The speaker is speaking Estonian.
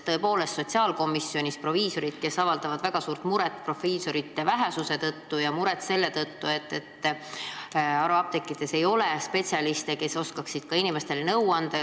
Tõepoolest, sotsiaalkomisjonis on väljendatud väga suurt muret proviisorite vähesuse üle ja selle pärast, et haruapteekides ei ole spetsialiste, kes oskaksid inimestele nõu anda.